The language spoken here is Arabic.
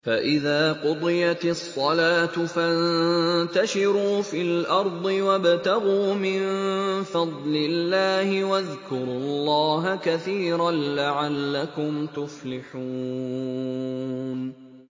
فَإِذَا قُضِيَتِ الصَّلَاةُ فَانتَشِرُوا فِي الْأَرْضِ وَابْتَغُوا مِن فَضْلِ اللَّهِ وَاذْكُرُوا اللَّهَ كَثِيرًا لَّعَلَّكُمْ تُفْلِحُونَ